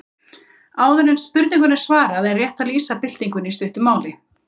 Áður en spurningunni er svarað er rétt að lýsa byltingunni í stuttu máli.